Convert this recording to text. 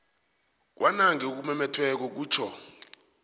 kwanange okumumethweko kutjho